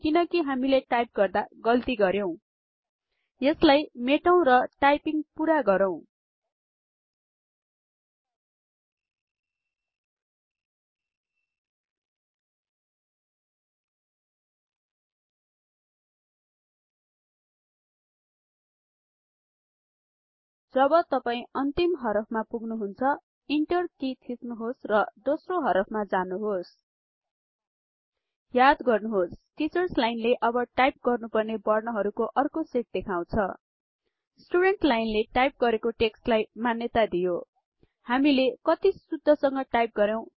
किनकि हामीले टाइप गर्दा गल्ति गरेउ यसलाई मेटौ र टाइपिंग पूरा गरौँ जब तपाई अन्तिम हरफमा पुग्नुहुन्छ इन्टर कि थिच्नुहोस् र दोस्रो हरफ मा जानुहोस् याद गर्नुहोस् टिचर्स लाईनले अब टाइप गर्नुपर्ने बर्ण हरुको अर्को सेट देखाउछ स्टुडेन्टस् लाईन ले टाइप् गरेको टेक्स्ट लाई मान्यता दियो हामीले कति शुद्ध संग टाइप गरेउ